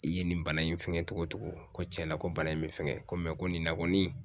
I ye nin bana in fɛngɛ togo togo ko cɛna ko bana in be fɛngɛ ko mɛ ko nin na kɔni